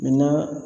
Min na